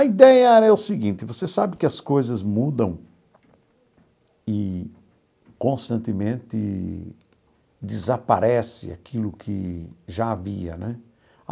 A ideia era o seguinte, você sabe que as coisas mudam e constantemente desaparece aquilo que já havia né.